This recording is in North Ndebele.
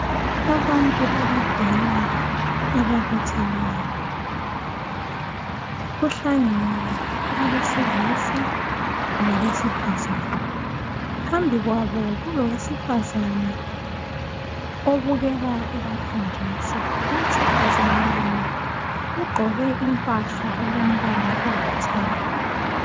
Abantu abadala ababutheneyo. Kuhlangene abesilisa labesifazani. Phambi kwabo kulowesifazana obukeka ebafundisa. Owesifazana yena ugqoke impahla elombala olithanga.